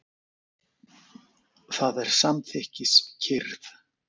Það er samþykkis- kyrrð.